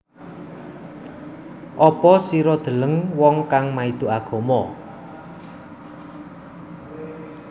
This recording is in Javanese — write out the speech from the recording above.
Apa sira deleng wong kang maido agama